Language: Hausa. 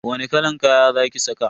Wani kalan kaya za ki saka?